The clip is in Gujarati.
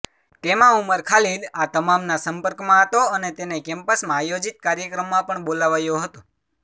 તેમાં ઉમર ખાલિદ આ તમામના સંપર્કમાં હતો અને તેને કેમ્પસમાં આયોજિત કાર્યક્રમમાં પણ બોલાવાયો હતો